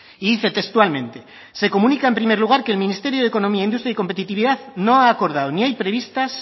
y dice textualmente se comunica en primer lugar que el ministerio de economía industria y competitividad no ha acordado ni hay previstas